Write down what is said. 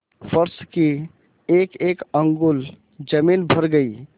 फर्श की एकएक अंगुल जमीन भर गयी